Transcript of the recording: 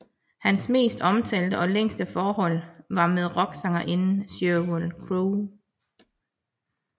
Hans mest omtalte og længste forhold var med rocksangerinden Sheryl Crow